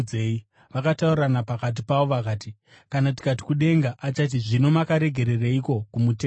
Vakataurirana pakati pavo vakati, “Kana tikati, ‘Kudenga,’ achati, ‘Zvino makaregereiko kumutenda?’